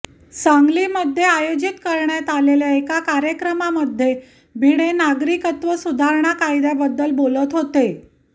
सांगलीमध्ये आयोजित करण्यात आलेल्या एका कार्यक्रमामध्ये भिडे नागरिकत्व सुधारणा कायद्याबद्दल बोलत होते